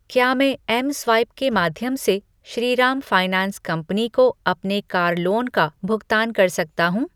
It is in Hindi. क्या मैं एमस्वाइप के माध्यम से श्रीराम फाइनैंस कंपनी को अपने कार लोन का भुगतान कर सकता हूँ?